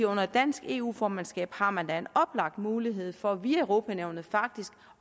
under et dansk eu formandskab har man da en oplagt mulighed for via europa nævnet faktisk